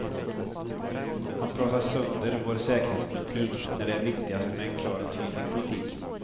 Han pratar sönder vår säkerhetspolitik, när det är viktigast med en klar och tydlig politik.